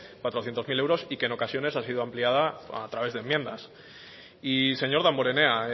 cuatrocientos mil euros y que en ocasiones ha sido ampliada a través de enmiendas y señor damborenea